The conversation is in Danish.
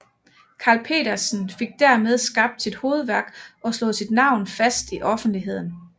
Carl Petersen fik dermed skabt sit hovedværk og slået sit navn fast i offentligheden